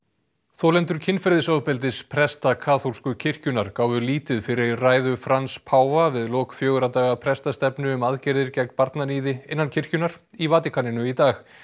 þolendur kynferðisofbeldis presta kaþólsku kirkjunnar gáfu lítið fyrir ræðu Frans páfa við lok fjögurra daga prestastefnu um aðgerðir gegn barnaníði innan kirkjunnar í Vatíkaninu í dag